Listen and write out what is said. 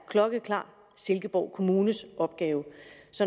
klokkeklart er silkeborg kommunes opgave